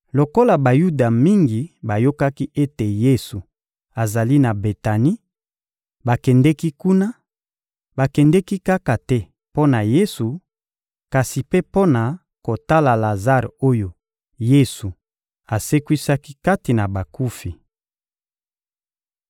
Lokola Bayuda mingi bayokaki ete Yesu azali na Betani, bakendeki kuna; bakendeki kaka te mpo na Yesu, kasi mpe mpo na kotala Lazare oyo Yesu asekwisaki kati na bakufi.